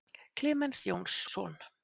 Klemens Jónsson.